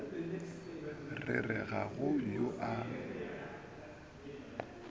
re ga go yo a